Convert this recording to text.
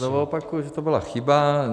Já znovu opakuji, že to byla chyba.